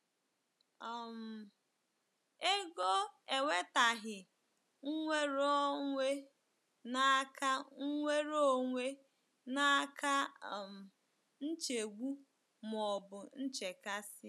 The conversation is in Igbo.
um Ego ewetaghi nweronwe n'aka nweronwe n'aka um nchegbu ma ọ bụ nchekasị. ”